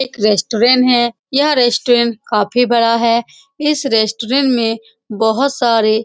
यह एक है यह काफी बड़ा है इस में बोहोत सारे --